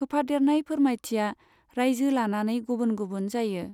होफादेरनाय फोरमायथिया रायजो लानानै गुबुन गुबुन जायो।